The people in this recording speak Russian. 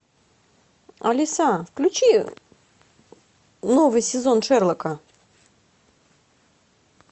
алиса включи новый сезон шерлока